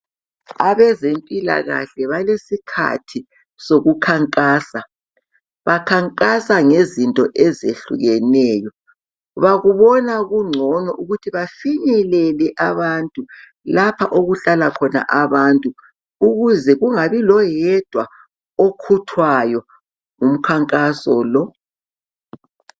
Abezempilakahle balesikhathi sokukhankasa. Bakhankasa ngezinto ezehlukeneyo. Bakubona kungcono ukuthi bafinyelele abantu lapha okuhlala khona abantu, ukuze kungabi loyedwa okhuthwayo ngumkhankaso lo.